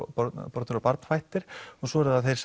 bornir bornir og barnfæddir svo eru það þeir